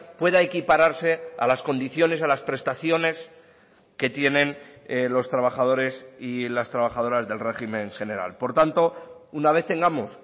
pueda equipararse a las condiciones a las prestaciones que tienen los trabajadores y las trabajadoras del régimen general por tanto una vez tengamos